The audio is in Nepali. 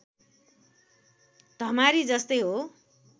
धमारी जस्तै हो